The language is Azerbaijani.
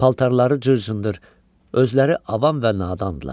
Paltarları cır-cındır, özləri avam və nadandırlar.